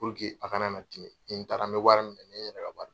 a kana na tiɲe, ni n taara n bɛ wari minɛ ne yɛrɛ ka baara